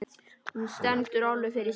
Hún stendur alveg fyrir sínu.